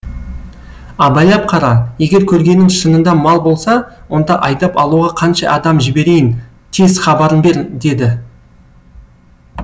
абайлап қара егер көргенің шынында мал болса онда айдап алуға қанша адам жіберейін тез хабарын бер деді